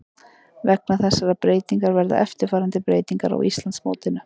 Vegna þessarar breytingar verða eftirfarandi breytingar á Íslandsmótinu: